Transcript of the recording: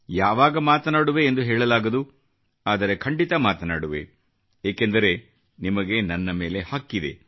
ಯಾವಾಗ ಮಾತನಾಡುವೆ ಎಂದು ಹೇಳಲಾಗದು ಆದರೆ ಖಂಡಿತ ಮಾತನಾಡುವೆ ಏಕೆಂದರೆ ನಿಮಗೆ ನನ್ನ ಮೇಲೆ ಹಕ್ಕಿದೆ